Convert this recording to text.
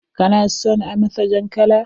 Kana son a masa jan kala?